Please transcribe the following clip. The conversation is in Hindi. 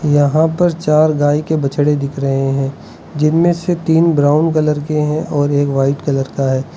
यहां पर चार गाय के बछड़े दिख रहे हैं जिनमें से तीन ब्राउन कलर के हैं और एक वाइट कलर का है।